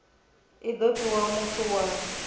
i do fhiwa muthu wa